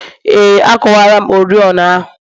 Ee, akuwala m oriọna ahụ